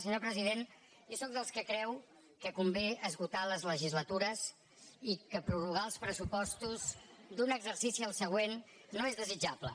senyor president jo sóc dels que creu que convé esgotar les legislatures i que prorrogar els pressupostos d’un exercici al següent no és desitjable